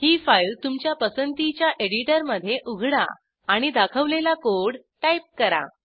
ही file तुमच्या पसंतीच्या editor मधे उघडा आणि दाखवलेला कोड टाईप करा